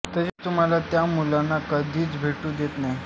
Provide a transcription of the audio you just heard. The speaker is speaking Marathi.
तसेच तुम्हाला त्या मुलांना कधीच भेटू देत नाही